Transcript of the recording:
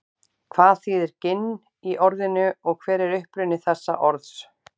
hvað þýðir ginn í orðinu og hver er uppruni þessa orðs